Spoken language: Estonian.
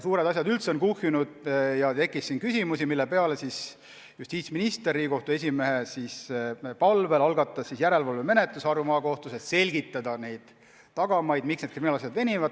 Suured asjad üldse on kuhjunud ja tekkis küsimusi, mille peale justiitsminister algatas Riigikohtu esimehe palvel järelevalvemenetluse Harju Maakohtus, et selgitada tagamaid, miks need kriminaalasjad venivad.